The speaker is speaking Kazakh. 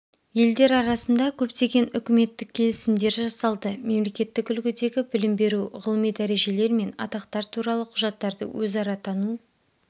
елдер арасында көптеген үкіметтік келісімдер жасалды мемлекеттік үлгідегі білім беру ғылыми дәрежелер мен атақтар туралы құжаттарды өзара тану